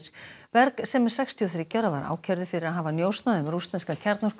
berg sem er sextíu og þriggja ára var ákærður fyrir að hafa njósnað um rússneska